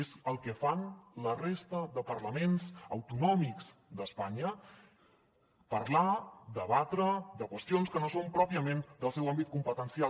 és el que fan la resta de parlaments autonòmics d’espanya parlar debatre de qüestions que no són pròpiament del seu àmbit competencial